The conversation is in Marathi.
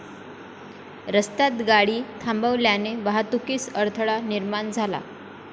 रस्त्यात गाडी थांबवल्याने वाहतुकीस अडथळा निर्माण झाला.